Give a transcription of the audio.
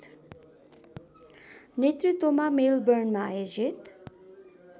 नेतृत्वमा मेलबर्नमा आयोजित